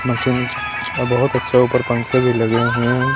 Machines और बहुत अच्छे ऊपर पंखे भी लगे हुए हैं।